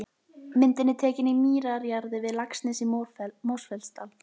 Myndin er tekin í mýrarjaðri við Laxnes í Mosfellsdal.